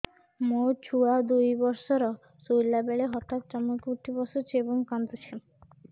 ମୋ ଛୁଆ ଦୁଇ ବର୍ଷର ଶୋଇଲା ବେଳେ ହଠାତ୍ ଚମକି ଉଠି ବସୁଛି ଏବଂ କାଂଦୁଛି